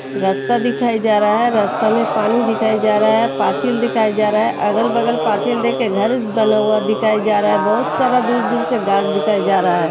रास्ता दिखाई जा रहा है। रास्ता में पानी दिखाया जा रहा है। पाचिल दिखाया जा रहा है। अगल बगल पाचिल देके घर बना हुआ दिखाई जा रहा है। बोहोत सारा दूर दूर से घास दिखाई जा रहा है।